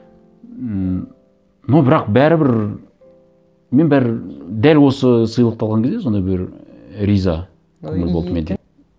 ммм но бірақ бәрібір мен бір дәл осы сыйлықты алған кезде сондай бір і риза көңіл болды менде